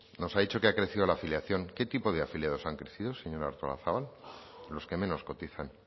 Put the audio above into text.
nos ha dicho que ha crecido la afiliación qué tipo de afiliados han crecido señora artolazabal los que menos cotizan